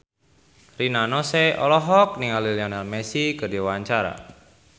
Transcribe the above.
Rina Nose olohok ningali Lionel Messi keur diwawancara